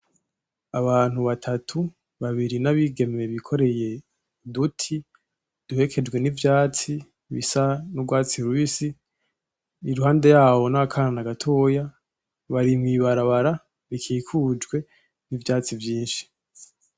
Abantu batatu, babiri ni abigeme bikoreye uduti duherekejwe n'ivyatsi bisa n'urwatsi rubisi, iruhande yaho n'akana gatoya, bari mwibarabara bikikujwe n'ivyatsi vyinshi.